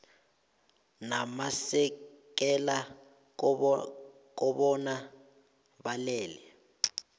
namasekela kobana balele